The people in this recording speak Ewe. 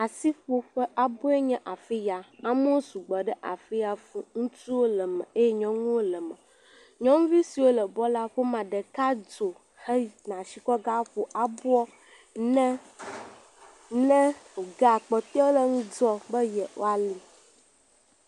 Asiƒoƒe aboe nye afi ya. amewo sugbɔ ɖe afi ya fuu. Ŋutsuwo le eme, nyɔnuwo le eme. Nyɔnuvi siwo le bɔl la ƒo mea ɖeka dzo heyina asi kɔ ge aƒo aboa ne ne wogea kpɔtɔewo le ŋudzɔ ne yewoali.